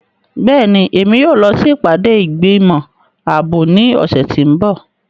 Bẹ́ẹ̀ni, Emi yóò lọ si ipade igbimọ aabo ni ọsẹ ti n bọ.